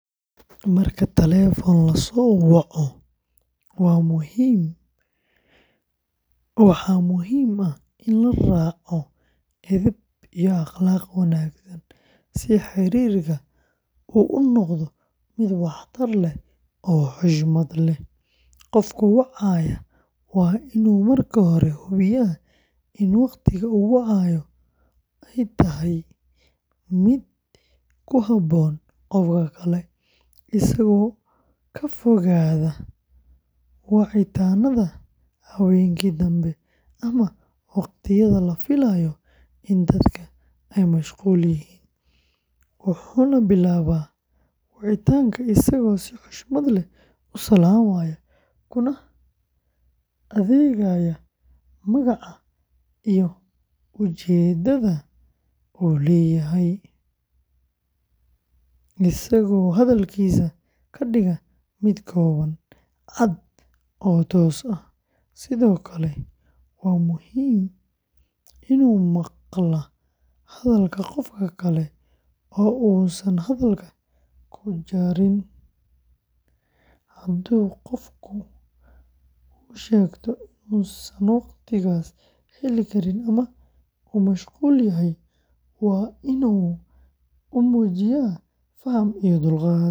Marka telefoon la soo waco, waxaa muhiim ah in la raaco edeb iyo akhlaaq wanaagsan si xiriirka uu u noqdo mid waxtar leh oo xushmad leh; qofka wacaya waa inuu marka hore hubiyaa in waqtiga uu wacayo yahay mid ku habboon qofka kale, isagoo ka fogaada wicitaannada habeenkii dambe ama waqtiyada la filayo in dadka ay mashquul yihiin, wuxuuna bilaabaa wicitaanka isagoo si xushmad leh u salaamaya, kuna sheegaya magaca iyo ujeeddada uu leeyahay, isagoo hadalkiisa ka dhiga mid kooban, cad, oo toos ah, sidoo kale waa inuu maqlaa hadalka qofka kale oo uusan hadalka ku jarin, hadduu qofka u sheegto inuusan waqtigaas heli karin ama uu mashquulsan yahay, waa inuu u muujiyo faham iyo dulqaad.